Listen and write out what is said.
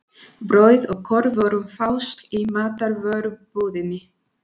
Brauð og kornvörur fást í matvörubúðinni.